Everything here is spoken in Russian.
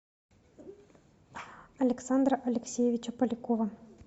александра алексеевича полякова